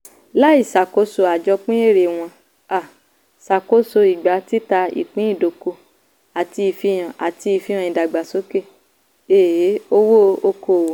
láì ṣàkóso àjọpín èrè wọ́n um ṣàkóso ìgbà títa ìpín ìdókòwò àti ìfihàn àti ìfihàn ìdàgbàsókè um owó okòwò.